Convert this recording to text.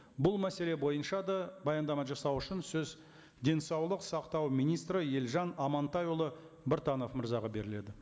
бұл мәселе бойынша да баяндама жасау үшін сөз денсаулық сақтау министрі елжан амантайұлы біртанов мырзаға беріледі